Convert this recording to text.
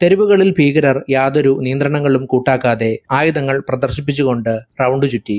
തെരുവുകളിൽ ഭീകരർ യാതൊരു നിയന്ത്രണങ്ങളും കൂട്ടാക്കാതെ ആയുധങ്ങൾ പ്രദർശിപ്പിച്ചു കൊണ്ട് പ്രൌഡി ചുറ്റി.